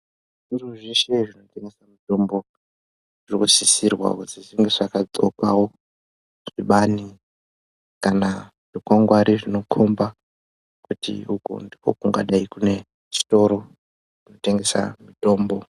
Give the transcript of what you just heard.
Zvitoro zveshe zvinotengesa mitombo zvinosisirwawo kuti zvinge zvakaxokawo zvibani kana zvikwangwari zvinokomba kuti uku ndiko kungadai kune chitoro chinotengesa mitombo.